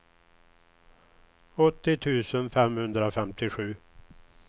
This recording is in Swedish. åttio tusen femhundrafemtiosju